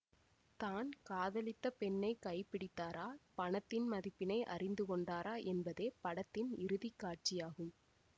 தான் காதலித்த பெண்ணை கை பிடித்தாரா பணத்தின் மதிப்பினை அறிந்து கொண்டாரா என்பதே படத்தின் இறுதி காட்சியாகும்